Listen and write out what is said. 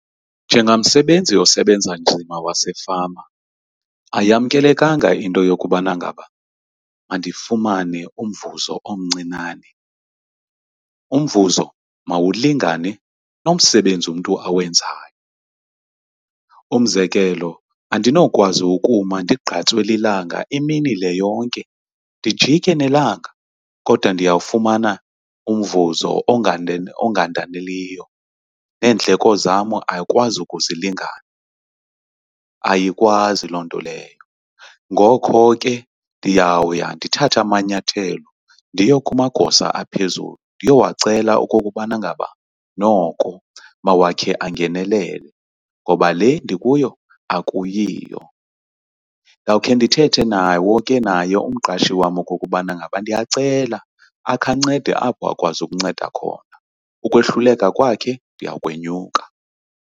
Njengamsebenzi osebenza nzima wasefama ayamkelekanga into yokubana ngaba mandifumane umvuzo omncinane, umvuzo mawulingane nomsebenzi umntu awenzayo. Umzekelo, andinowukwazi ukuma ndigqatswe lilanga imini le yonke ndijike nelanga kodwa ndiyawufumana umvuzo ongandaneliyo, neendleko zam ayikwazi ukuzilingana, ayikwazi loo nto leyo. Ngoko ke, ndiyawuya ndithathe amanyathelo ndiye kumagosa aphezulu ndiyowacela okokubana ngaba noko mawakhe angenelele, ngoba le ndikuyo akuyiyo. Ndawukhe ndithethe nawo ke naye umqashi wam okokubana ngaba ndiyacela akhe ancede apho akwazi ukunceda khona, ukwehluleka kwakhe ndiyawukwenyuka.